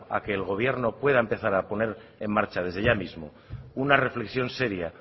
a que el gobierno pueda empezar a poner en marcha desde ya mismo una reflexión seria